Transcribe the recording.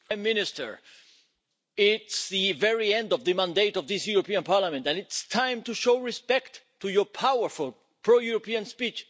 Mr President, Prime Minister, it is the very end of the mandate of this European Parliament, and it's time to show respect to your powerful pro European speech.